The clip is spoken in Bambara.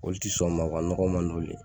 Olu tɛ sɔn o ma nɔgɔ man di olu ye